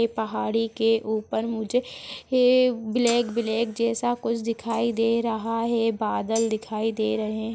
ऐ पहाड़ी के ऊपर मुझे एक ब्लैक ब्लैक जैसा कुछ दिखाई दे रहा है बादल दिखाई दे रहे है।